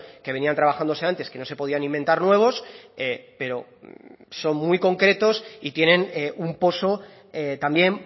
que venían trabajándose antes que no se podían inventar nuevos pero son muy concretos y tienen un poso también